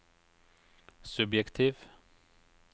subjektiv